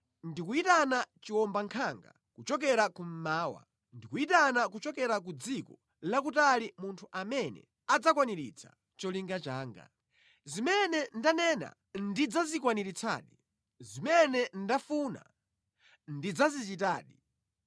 Ndikuyitana chiwombankhanga kuchokera kummawa. Ndikuyitana kuchokera ku dziko lakutali munthu amene adzakwaniritsa cholinga changa. Zimene ndanena ndidzazikwaniritsadi; zimene ndafuna ndidzazichitadi.